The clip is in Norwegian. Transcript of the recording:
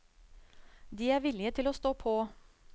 De er villige til å stå på.